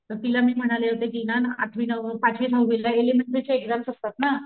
तर तिला मी म्हणाले होते कि ना आठवी नववी पाचवी दहावीला एलिमेंटरी च्या एक्साम्स असतात ना,